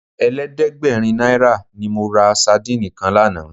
Ẹ̀ẹ́dẹ́gbẹ̀rin náírà ni mo ra sadíìnì kan lánàá.